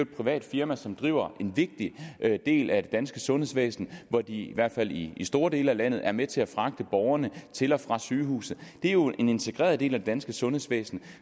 privat firma som driver en vigtig del af danske sundhedsvæsen hvor de i hvert fald i store dele af landet er med til at fragte borgerne til og fra sygehuset det er jo en integreret del af det danske sundhedsvæsen